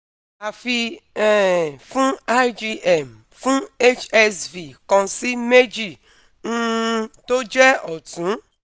Afi um fun IgM fun HSV kan si meji, um to je otun